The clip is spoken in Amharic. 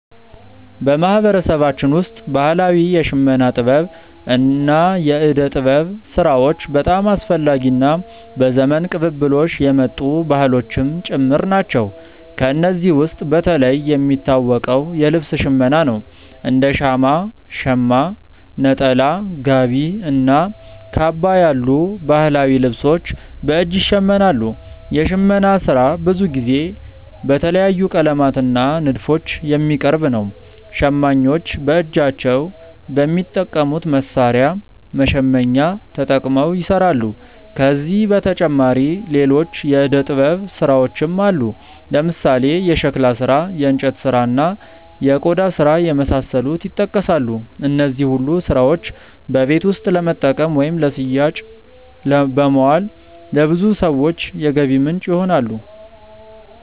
በማህበረሰባችን ውስጥ ባህላዊ የሽመና ጥበብ እና የእደ ጥበብ ስራዎች በጣም አስፈላጊ እና በዘመን ቅብብሎሽ የመጡ ባህሎችም ጭምር ናቸው። ከእነዚህ ውስጥ በተለይ የሚታወቀው የልብስ ሽመና ነው፤ እንደ ሻማ (ሸማ)፣ ነጠላ፣ ጋቢ እና ካባ ያሉ ባህላዊ ልብሶች በእጅ ይሸመናሉ። የሽመና ስራ ብዙ ጊዜ በተለያዩ ቀለማት እና ንድፎች የሚቀርብ ነው። ሸማኞች በእጃቸው በሚጠቀሙት መሣሪያ (መሸመኛ)ተጠቅመው ይሰራሉ። ከዚህ በተጨማሪ ሌሎች የእደ ጥበብ ስራዎችም አሉ፦ ለምሳሌ የሸክላ ስራ፣ የእንጨት ስራ፣ እና የቆዳ ስራ የመሳሰሉት ይጠቀሳሉ። እነዚህ ሁሉ ስራዎች በቤት ውስጥ ለመጠቀም ወይም ለሽያጭ በማዋል ለብዙ ሰዎች የገቢ ምንጭ ይሆናሉ።